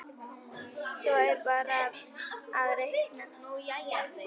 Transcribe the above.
Svo er bara að reikna.